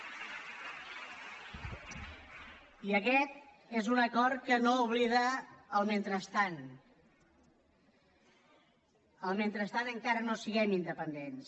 i aquest és un acord que no oblida el mentrestant el mentrestant encara no siguem independents